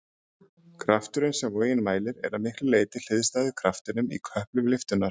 Krafturinn sem vogin mælir er að miklu leyti hliðstæður kraftinum í köplum lyftunnar.